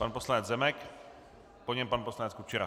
Pan poslanec Zemek, po něm pan poslanec Kučera.